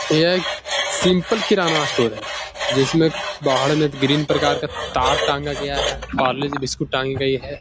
यह एक simple kirana store है जिसमे बाहर में विभिन्न प्रकार का तार टाँगा गया है पार्ले-जी बिस्कुट टांगी गई है।